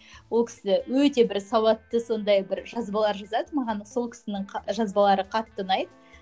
ол кісі өте бір сауатты сондай бір жазбалар жазады маған сол кісінің жазбалары қатты ұнайды